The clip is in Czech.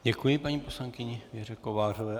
Děkuji paní poslankyni Věře Kovářové.